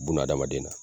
Bununa hadamaden na